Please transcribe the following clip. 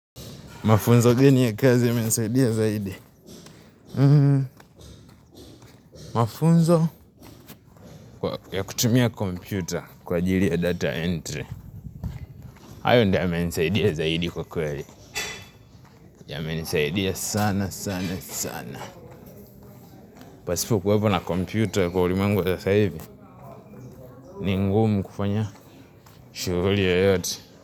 Mafunzo geni ya kazi yamenisaidia zaidi. Mafunzo ya kutumia kompyuta kwa ajili ya data entry. Hayo ndio yamenisaidia zaidi kwa kweli. Ya menisaidia sana sana sana. Pasipo kuwepo na kompyuta kwa ulimwengu wa sas hivi. Ni ngumu kufanya shuguli yoyote.